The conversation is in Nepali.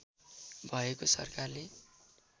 भएको सरकारले